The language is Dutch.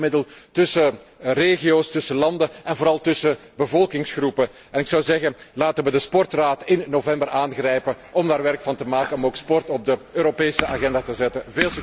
Het is een bindmiddel tussen regio's, tussen landen en vooral tussen bevolkingsgroepen en ik zou zeggen, laten we de bijeenkomst van de Raad over sport in november aangrijpen om daar werk van te maken en om ook sport op de Europese agenda te zetten.